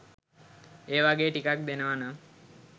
ඒ වගේ ටිකක් දෙනවනම්